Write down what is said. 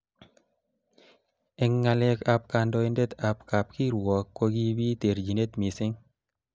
Eng ngalek ab kandoindet ab kab kirwok kokibit terjinet missing.